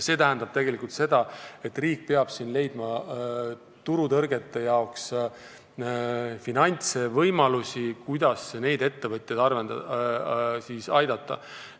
See tähendab tegelikult seda, et riik peab leidma finantse turutõrgete kõrvaldamiseks ja võimalusi, kuidas neid ettevõtjaid aidata.